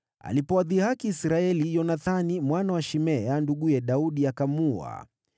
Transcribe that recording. Alipowadhihaki Israeli, Yonathani, mwana wa Shimea, nduguye Daudi, akamuua.